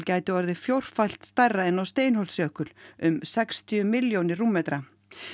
gæti orðið fjórfalt stærra en á um sextíu milljónir rúmmetra